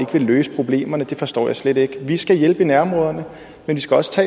ville løse problemerne forstår jeg slet ikke vi skal hjælpe i nærområderne men vi skal også